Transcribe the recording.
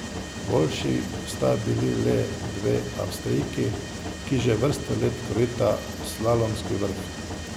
Boljši sta bili le dve Avstrijki, ki že vrsto let krojita slalomski vrh.